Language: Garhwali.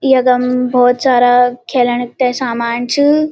यखम बहौत सारा खेलण ते सामान च।